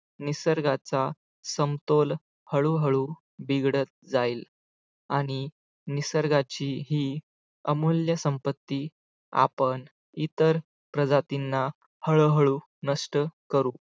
निसर्गाचा समतोल हळूहळू बिघडत जाईल आणि निसर्गाची ही अमूल्य संपत्ती आपण इतर प्रजातींना हळूहळू नष्ट करू.